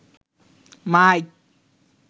mic